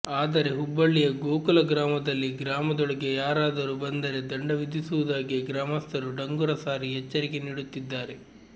ಆದರೆ ಹುಬ್ಬಳ್ಳಿಯ ಗೋಕುಲ ಗ್ರಾಮದಲ್ಲಿ ಗ್ರಾಮದೊಳಗೆ ಯಾರಾದರೂ ಬಂದರೆ ದಂಡ ವಿಧಿಸುವುದಾಗಿ ಗ್ರಾಮಸ್ಥರು ಡಂಗುರ ಸಾರಿ ಎಚ್ಚರಿಕೆ ನೀಡುತ್ತಿದ್ದಾರೆ